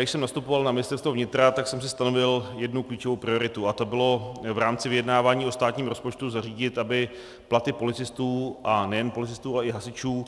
Když jsem nastupoval na Ministerstvo vnitra, tak jsem si stanovil jednu klíčovou prioritu a tou bylo v rámci vyjednávání o státním rozpočtu zařídit, aby platy policistů, a nejen policistů, ale i hasičů,